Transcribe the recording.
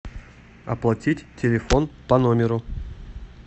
оплатить телефон по номеру